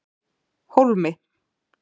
Hólmi